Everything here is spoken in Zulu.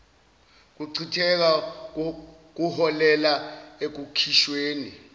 kuchitheka kuholela ekukhishweni